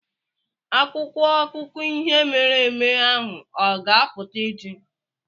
Akwụkwọ akụkọ ihe mere eme ahụ ọ ga-apụta echi?